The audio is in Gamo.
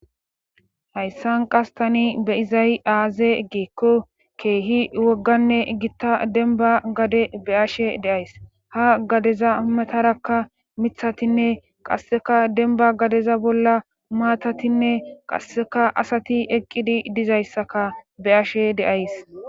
Hayssan qas tani be7izay aaze giikko keehi wogganne gitta denba gade be7ashe de7ays ha gadeza matarakka mithatinne qasseka denba gadeza bolla maatatinne qasseka asati eqqidi dizayssaka be7ashe de7ays.